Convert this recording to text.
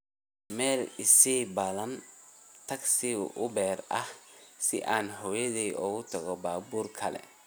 meel ii sii ballan tagsi uber ah si aan hooyaday ugu tago baabuur kale